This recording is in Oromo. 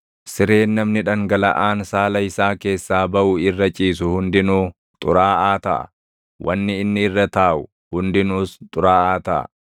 “ ‘Sireen namni dhangalaʼaan saala isaa keessaa baʼu irra ciisu hundinuu xuraaʼaa taʼa; wanni inni irra taaʼu hundinuus xuraaʼaa taʼa.